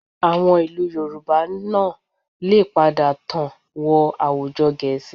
Àwọn ìlú Yorùbá náà lè padà tàn wọn àwùjọ Gẹ̀ẹ́sì